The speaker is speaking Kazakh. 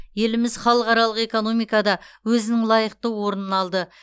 еліміз халықаралық экономикада өзінің лайықты орнын алды